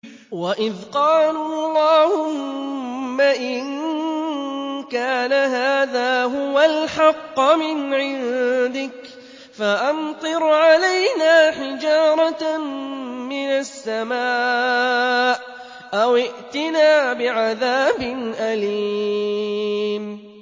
وَإِذْ قَالُوا اللَّهُمَّ إِن كَانَ هَٰذَا هُوَ الْحَقَّ مِنْ عِندِكَ فَأَمْطِرْ عَلَيْنَا حِجَارَةً مِّنَ السَّمَاءِ أَوِ ائْتِنَا بِعَذَابٍ أَلِيمٍ